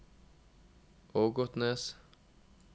Ågotnes